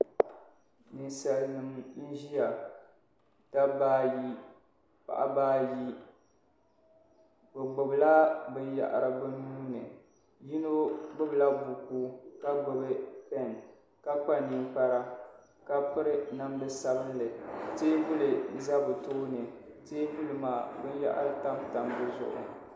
Ninsalinima n-ʒiya dabba ayi paɣiba ayi bɛ gbubila binyɛhiri bɛ nuu ni yino gbubila buku ka gbubi pɛɛn ka kpa ninkpara ka piri namdi'sabinli teebuli za bɛ tooni teebuli maa binyɛhiri tamtam di zuɣu.